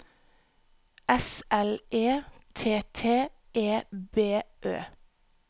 S L E T T E B Ø